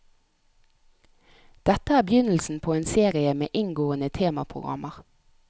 Dette er begynnelsen på en serie med inngående temaprogrammer.